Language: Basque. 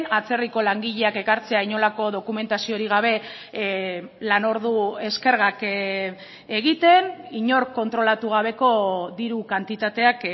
atzerriko langileak ekartzea inolako dokumentaziorik gabe lanordu eskergak egiten inork kontrolatu gabeko diru kantitateak